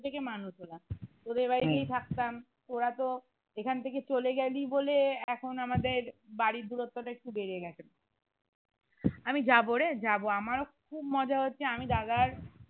ছোট থেকে মানুষ হলাম তোদের বাড়িতেই থাকতাম তোরা তো এইখান থেকে চলে গেলি বলে এখন আমাদের বাড়ির দূরত্বটা একটু বেড়ে গেছে আমি যাবো রে যাবো আমারো খুব মজা হচ্ছে আমি দাদার